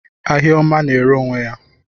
Ahịa ọma na-ere onwe ya.